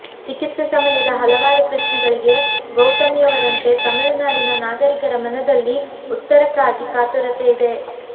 ಚಿಕಿತ್ಸೆ ಸಮಯದ ಹಲವಾರು ಪ್ರಶ್ನೆಗಳಿಗೆ ಗೌತಮಿಯವರಂತೆ ತಮಿಳುನಾಡಿನ ನಾಗರಿಕರ ಮನದಲ್ಲಿ ಉತ್ತರಕ್ಕಾಗಿ ಕಾತುರತೆಯಿದೆ